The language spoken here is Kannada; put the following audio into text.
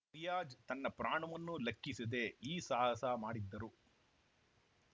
ರಿಯಾಜ್‌ ತನ್ನ ಪ್ರಾಣವನ್ನೂ ಲೆಕ್ಕಿಸದೇ ಈ ಸಾಹಸ ಮಾಡಿದ್ದರು